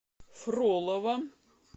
фролово